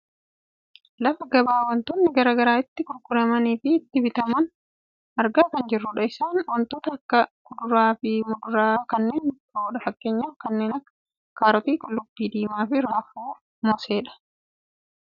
Lafa gabaa wantootni gara garaa itti gurguramaniifi itti bitaman argaa kan jirrudha. Isaanis wantoota akka kuduraa muduraa fi kanneen biroodha. Fakkeenyaaf kanneen akka ; kaarotii, qullubbii diimaa , raafuufi mooseedha.